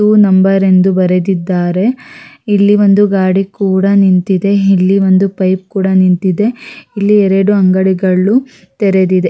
ಇದು ನಂಬರ್ ಎಂದು ಬರೆದಿದ್ದರೆ ಇಲ್ಲಿ ಒಂದು ಗಾಡಿ ಕೂಡ ನಿಂತಿದೆ ಇಲ್ಲಿ ಒಂದು ಪೈಪ್ ಕೂಡ ನಿಂತಿದೆ ಇಲ್ಲಿ ಎರಡು ಅಂಗಡಿಗಳು ತೆರೆದಿದೆ.